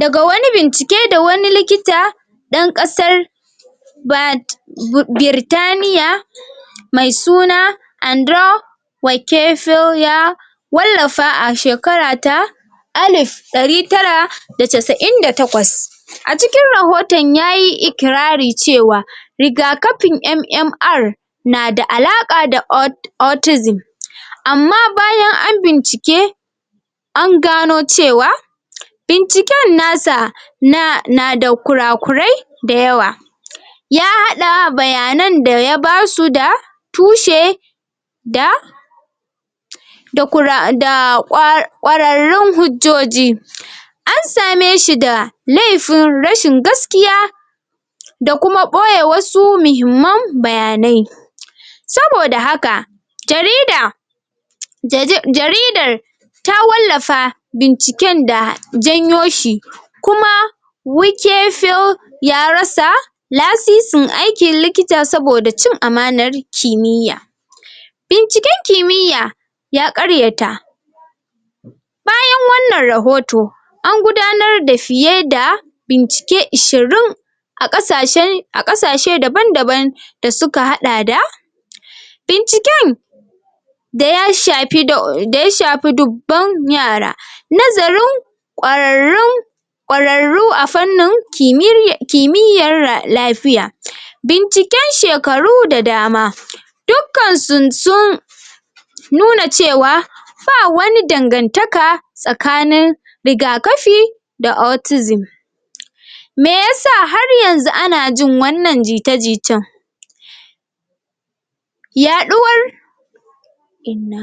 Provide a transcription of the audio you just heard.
daga wani Bincike da wani likita ɗan ƙasar Bad Birtaniya mai suna Andro Wakefilya wallafa a shekara ta Alif dari tara da casa'in da takwas a cikin rahoton yayi ikirari cewa rigakafin MMR na da alaƙa da autism amma bayan an bincike an gano cewa binciken na sa na nada kura kurai da yawa a haɗa bayanan da ya basu da tushe da da kura da da kwararrun hujjoji an same shi da lefin rashin gaskiya da kuma boye wasu muhimman bayanai saboda haka jarida ja ja jaridar ta wallafa binciken da janyo shi kuma Wikefil ya rasa lasisin aikin likita saboda cin amanar kimiyya binciken kimiyya ya ƙaryata bayan wannan rahoto an gudanar da fiye da bincike ishirin a ƙasashen a ƙasashe daban daban da suka haɗa da binciken da ya shafi da ya shafi dubban yara nazarin ƙwararrun ƙwararru a fannin kimiyyar lafiya binciken shekaru da dama dukkansu sun nu na cewa ba wani dangantaka tsakanin rigakafi da autism me yasa har yanzu ana jin wannan jita jitar. Yaɗuwar inna.